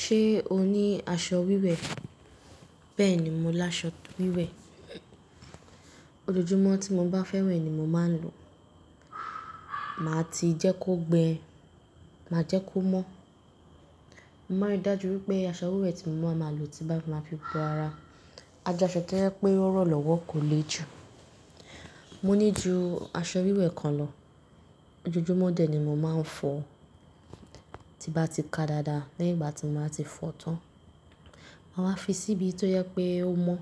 Ṣé o ní aṣọ wíwẹ̀? Bẹ́ẹ̀ni, mo laṣọ wíwẹ̀. Ojoojúmọ́ tí mo bá fẹ́ wẹ̀ ni mo máa ń lò. Màá ti jẹ́ kó gbẹ, máa jẹ́ kó mọ́. Mo máa ń rí dájú wípé aṣọ wíwẹ̀ tí mo bá máa lò tí n bá máa fi gbo ara, a jẹ́ aṣọ tojẹ́ pé ó rọ̀ lọ́wọ́ kò le jù. Mo ní ju aṣọ wíwẹ̀ kan lọ. Ojoojúmọ́ dẹ̀ ni mo máa ń fọ. Tí n bá ti ká dáadáa, lẹ́yìn bá ti n ba ti fọ tán, màwá fi sí ibi tó jẹ́ pé ó mọ́,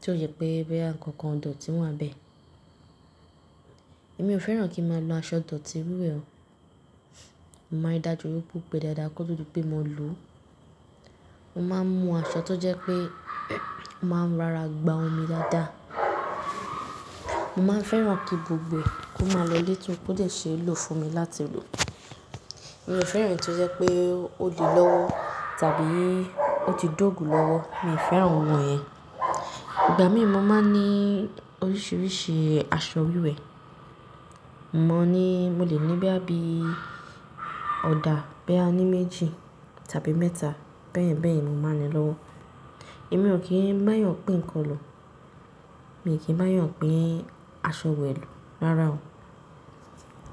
tí ó ṣe pé bóyá ǹkankàn ìdọ̀tí wà n bẹ. Èmi ò fẹ́ràn kí n máa lo aṣọ dọ̀tí wíwẹ̀ o. Mo máa ń rí dájú wípé ó gbẹ dáadáa kó tó di pé mo lò ó. Mo máa ń mu aṣọ tó jẹ́ pé ó máa ń rí ara gba omi dáadáa. Mo máa ń fẹ́ràn kí gbogbo ẹ kó máa lọ létò kó dè ṣe é lò fún mi láti lò. Èmi ò fẹ́ràn èyí tó jẹ́ pé ó le lọ́wọ́ tàbí ó ti dógùn lọ́wọ́. Mi ò fẹ́ràn ohun yẹn. Ìgbà mìí mo máa ń ní oríṣiríṣi aṣọ wíwẹ̀. Mo ní, mo lè ní bóyá bíi ọ̀dà bóyá ní méjì tàbí mẹ́ta bẹ́yẹ̀n bẹ́yẹ̀n ni mo máa ń ní lọ́wọ́. Èmi ò kí ń bá èyàn pín ǹkan lò. Èmi kìí bá èyàn pín aṣọ wẹ̀ lò rárá o.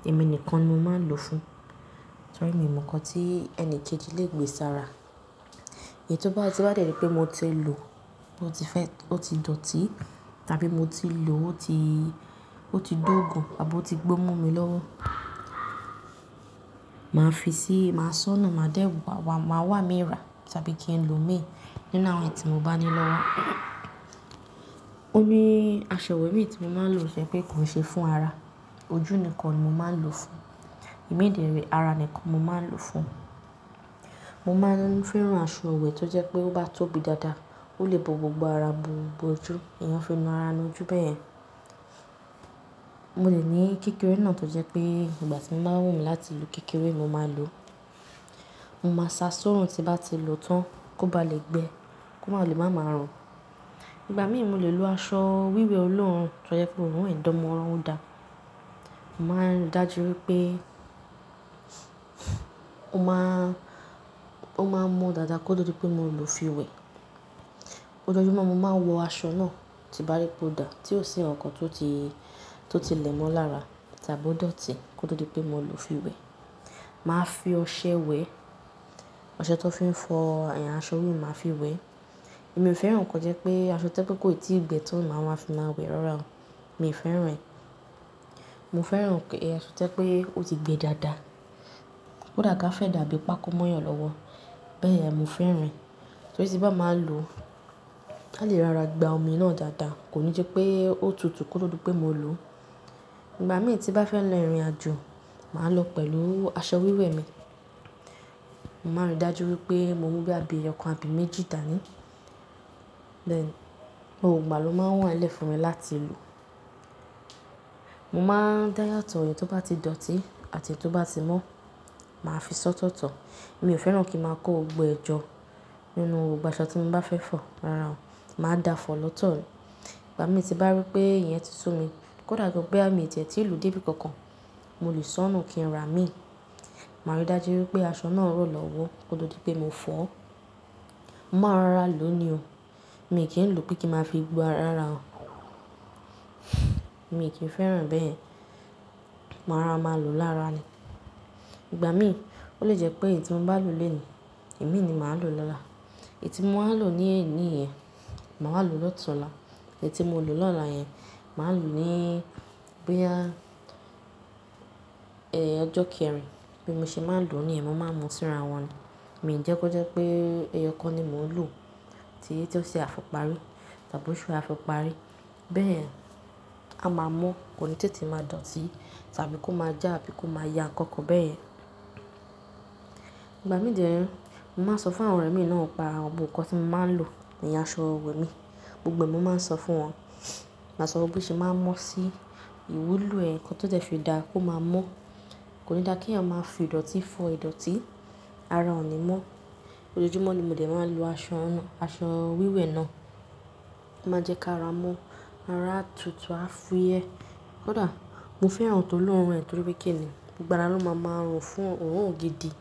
Èmi nìkan ni mo máa ń lò fún. Torí mi ò mọ nǹkan tí ẹni kejì lè gbé sára. Èyí tó bá, tin bá dẹ̀rí pé mo ti lò ó ti fẹ́, ó ti dọ̀tí tàbí mo ti lò ó ti, ó ti dógùn àbí ò ti gbó mo mi lọ́wọ́, màá fi sí, màá ṣọ́nu, màá dẹ́, wa, wa, màá wà míira tàbí kí n lò imí nínú àwọn ẹ́yití mo bá ní lọ́wọ́. Oní aṣọ ìwẹ̀ mi tí mo máa ń lò tó jẹ́ pé kòi ṣe fún ara. Ojú nìkan ni mo máa ń lò fún. Ìmi de rẹ̀ ara nìkan mo máa ń lò fún. Mo máa ń fẹ́ran aṣọ wẹ̀ tó jẹ́ pé óbá tóbi dáadáa, ó lè bo gbogbo ara, bo gbogbo ojú. Èèyàn a fi nù ara nù ojú bẹ́yẹ́n. Mo lè ní kékeré náà tó jẹ́ pé ìgbà tí mo bá wù mí láti lo kékeré, mo máa lò ó. Mo máa sá sóòrùn tí n bá ti lò ó tán kó bá lè gbẹ, kó má lè máa ma rùn. Ìgbà mìí mo lè lo aṣọ wíwẹ̀ olóórùn tó jẹ́ pé òórùn dán mọ́ran ò dá. Mo máa ń rí dájú wípé ó máa, ó máa ń man dáadáa kó tó di pé mo lò ó fi wẹ̀. Ojoojúmọ́ mo máa ń wọ aṣọ náà tí n bá rí pé ó dà tí ò sí nǹkan tó ti, tó ti lẹ̀mọ́ lára tàbí ò dọ̀tí kó tó di pé mo lò ó fi wẹ̀. Màá fi ọṣẹ weẹ̀, ọṣẹ tí wọ́n fi ń fọ ẹ̀ aṣọ wíwẹ̀ máa fi wẹ̀. Èmi ò fẹ́ràn nǹkan tó jẹ́ pé aṣọ tó jẹ́ pé kó ì tí ì gbẹ tón ma máa fi máa wẹ̀ rárá o. Mi ò fẹ́ràn rẹ̀. Mo fẹ́ràn kí aṣọ jẹ́ pé ó ti gbẹ dáadáa. Kódà gán a fẹ́ dàbí i pákó móyàn lọ́wọ́. Bẹ́yẹ̀n mò fẹ́ràn ẹ. Torí tí n bá máa lò ó, a lè rara gba omi náà dáadáa. Kò ní jẹ́ pé ó tutù kó tó di pé mo lò ó. Ìgbà mìíràn tí bá fẹ́ lọ ìrìnàjò, màá lọ pẹ̀lú aṣọ wíwẹ̀ mi. Mo máa ń rí dájú wípé mo mú bóyá bí i ọkàn àbí méjì dà ní. Bẹ́ẹ̀ni, gbogbo ìgbà ló máa ń wàńlẹ̀ fún mi láti lò. Mo máa n dá yàtọ̀ ẹyi tó bá ti dọ̀tí àti èyí tó bá ti mọ́. Màá fi sọ́tọ̀ọ̀tọ̀. Èmi ò fẹ́ràn kí n máa kó gbogbo ẹ jọ́ nínú gbogbo aṣọ tí n bá fẹ́ fọ̀ rárá o. Màá dà fọ̀ lọ́tọ̀ ni ìgbà mí tí n bá rí pé ìyẹn ti sú mi, kó dà gàn bóyá míì tiẹ̀ tí lọ débi kankan, mo lè sọ́nu kí n ra mí. Màá rí dájú wípé aṣọ náà rọ̀ lọ́wọ́ kó tó di pé mo fọ ó. Mo máa n rora lò ó ni o. Èmi kìí lò pé kí n máa fi gbo ara rárá o. Èmi e kì n fẹ́ràn bẹ́ẹ̀. Màá rora máa lò lára ni. Ìgbà mìí, ó lè jẹ́ pé èyí tí mo bá lò lónìí, imi ni màá lò lọ́la. Èyí tí mo máa n lò ní òní yẹn, màwa lò lọ́tùnla. Èyí tí mo lò lọ́la yẹn, màá lò ní bóyá, ẹ, ọjọ́ kẹrin. Bí mo ṣe máa ń lò ní níyẹn, mo máa ń mu síra wọn ni. Mi e jẹ́ kó jẹ́ pé ẹyọkan ni mò ń lò tí, tí óṣe àfi parí tàbí òṣu àfi parí. Bẹ́ẹ̀ àa, a máa mọ́. Kò ní tètè máa dọ̀tí tàbí kó máa já àbí kó máa ya ǹkan ǹkan bẹ́yẹn. Ìgbà mìí de re, mo máa ń sọ fún àwọn ọ̀rẹ́ mi náà n pa àwọn nǹkan tí mo máa ń lò, ìyẹn aṣọ ìwẹ̀ mi. Gbogbo ẹ̀ mo máa ń sọ fún wọn. Màá sọ wípé ṣe máa ń mọ́ sí ìwúlò ẹ̀ nǹkan tó dẹ́ fi dáa kó máa mọ́. Kò ní dà kí èèyàn máa fi ìdọ̀tí fọ ìdọ̀tí. Ara ò ní mọ́. Ojoojúmọ́ ni mo dè máa ń lo aṣọ náà, aṣọ wíwẹ̀ náà. Ó máa ń jẹ́ kí ára mon, ara á tutù, á fúyẹ́. Kódà mo fẹ́ràn ntó lòórùn ẹ torí pé kí ni, gbogbo ara ló ma máa rùn fún òórùn gidi.